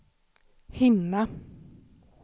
hinna